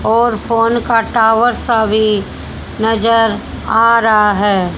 और फोन का टावर सा भी नजर आ रहा है।